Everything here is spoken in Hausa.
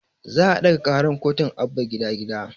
Za a ɗaga karar kotun abba gida gida